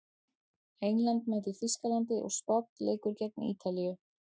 England mætir Þýskalandi og Spánn leikur gegn Ítalíu.